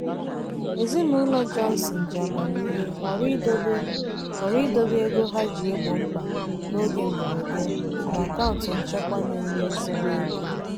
ezinụlọ johnson ji amamihe họrọ idobe họrọ idobe ego ha ji egbo mkpa n'oge mberede na akaụntụ nchekwa na-enye ezigbo ego.